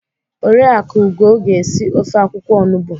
Oriakụ Ugo ga esi ofe akwukwo onugbo.